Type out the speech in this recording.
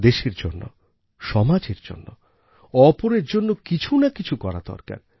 দেশের জন্য সমাজের জন্য অপরের জন্য কিছু না কিছু করা দরকার